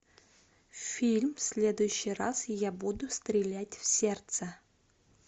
фильм в следующий раз я буду стрелять в сердце